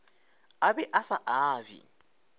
a be a sa abje